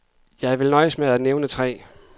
Jeg vil nøjes med at nævne tre.